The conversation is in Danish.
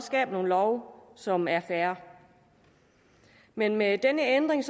skaber nogle love som er fair men med denne ændring